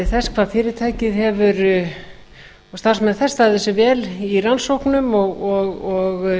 þess hvað fyrirtækið og starfsmenn þess hafa staðið sig vel í rannsóknum og